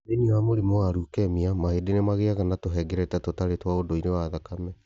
Thĩinĩ wa mũrimu wa leukemia, mahĩndĩ nĩ magĩaga na tũhengereta tũtarĩ twa ũndũire twa thakame.